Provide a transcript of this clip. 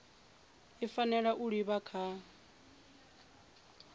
i fanela u livha kha